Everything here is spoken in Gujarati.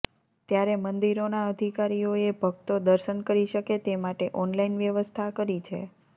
ત્યારે મંદિરોના અધિકારીઓએ ભક્તો દર્શન કરી શકે તે માટે ઓનલાઈન વ્યવસ્થા કરી છે